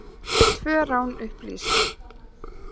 Tvö rán upplýst